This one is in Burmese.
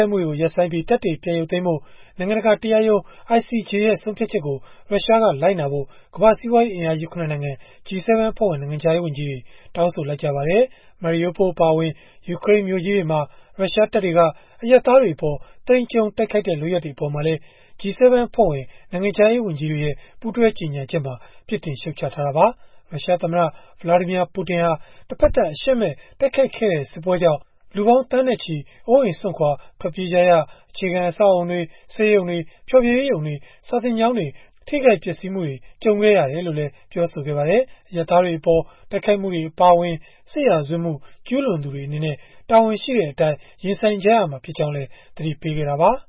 က်မှုတွေကို ရပ်ဆိုင်းပြီး တပ်တွေ ပြန်ရုပ်သိမ်းဖို့ နိုင်ငံတကာ တရားရုံး (ICJ) ရဲ့ ဆုံးဖြတ်ချက်ကို ရုရှားက လိုက်နာဖို့ ကမ္ဘာ့စီးပွားရေးအင်အားကြီး ၇ နိုင်ငံ G-7 အဖွဲ့ဝင် နိုင်ငံခြားရေးဝန်ကြီးတွေက တောင်းဆိုလိုက်ပါတယ်။ Mariupol အပါအဝင် ယူကရိန်းမြို့ကြီးတွေမှာ ရုရှားတပ်တွေက အရပ်သားတွေအပေါ် သိမ်းကျုံးတိုက်ခိုက်တဲ့ လုပ်ရပ်တွေ အပေါ်မှာလည်း G-7 အဖွဲ့ဝင် နိုင်ငံခြားရေးဝန်ကြီးတွေရဲ့ ပူးတွဲကြေညာချက်မှာ ပြစ်တင်ရှုတ်ချခဲ့တာပါ။ ရုရှားသမ္မတ Vladimir Putin ဟာ တဖက်သတ် အရှက်မဲ့ တိုက်ခိုက်ခဲ့တဲ့ စစ်ပွဲကြောင့် လူပေါင်းသန်းနဲ့ချီ အိုးအိမ်စွန့်ခွာ ထွက်ပြေးကြရ၊ အခြေခံ အဆောက်အအုံတွေ၊ ဆေးရုံတွေ၊ ဖျော်ဖြေရေးရုံတွေ၊ စာသင်ကျောင်းတွေ ထိခိုက်ပျက်စီးမှုတွေ ကြုံခဲ့ရတယ်လို့လည်း ပြောပါတယ်။ အရပ်သားတွေအပေါ် တိုက်ခိုက်မှုတွေ အပါအဝင် စစ်ရာဇဝတ်မှု ကျုးလွန်သူတွေ အနေနဲ့ တာဝန်ရှိတဲ့အတိုင်း ရင်ဆိုင်ရမှာ ဖြစ်ကြောင်းလည်း သတိပေးခဲ့တာပါ။